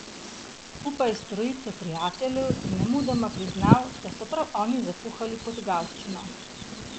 Skupaj s trojico prijateljev je nemudoma priznal, da so prav oni zakuhali potegavščino.